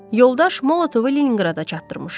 Yoldaş Molotovu Leninqrada çatdırmışam.